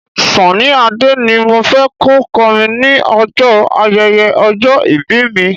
Sunny Adé ni mo fẹ́ kó kọrin ní ọjọ́ ayẹyẹ ọjọ́ ìbí mi.